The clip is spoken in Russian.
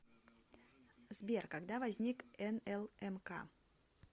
сбер когда возник нлмк